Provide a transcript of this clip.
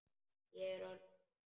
Ég er orðin svo þreytt.